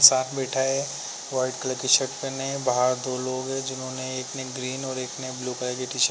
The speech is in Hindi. साथ बैठा है व्हाइट कलर की शर्ट पहने है। बाहर दो लोग हैं जिन्होंने एक ने ग्रीन और एक ने ब्लू कलर की टी-शर्ट --